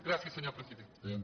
gràcies senyor president